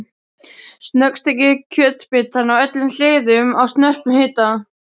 Snöggsteikið kjötbitana á öllum hliðum á snörpum hita.